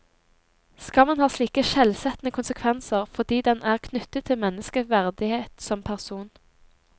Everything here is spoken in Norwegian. Skammen har slike skjellsettende konsekvenser, fordi den er knyttet til menneskets verdighet som person.